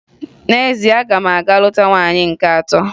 N'ezie, aga m aga lụta nwaanyị nke atọ.